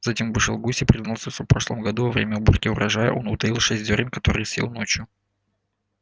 затем вышел гусь и признался что в прошлом году во время уборки урожая он утаил шесть зёрен которые съел ночью